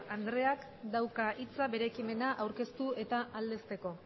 andreak dauka hitza bere ekimena aurkeztu eta aldezteko